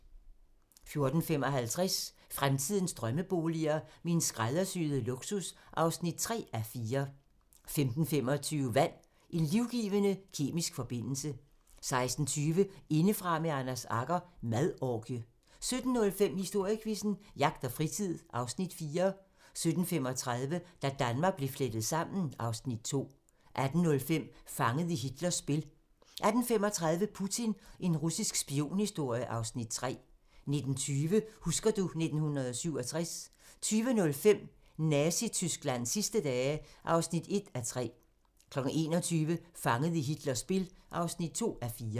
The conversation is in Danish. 14:55: Fremtidens drømmeboliger: Min skræddersyede luksus (3:4) 15:25: Vand - En livgivende kemisk forbindelse 16:20: Indefra med Anders Agger - Madorgie 17:05: Historiequizzen: Jagt og fritid (Afs. 4) 17:35: Da Danmark blev flettet sammen (Afs. 2) 18:05: Fanget i Hitlers spil 18:35: Putin - en russisk spionhistorie (Afs. 3) 19:20: Husker du ... 1967 20:05: Nazi-Tysklands sidste dage (1:3) 21:00: Fanget i Hitlers spil (2:4)